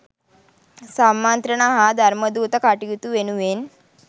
සම්මන්ත්‍රණ හා ධර්මදූත කටයුතු වෙනුවෙන්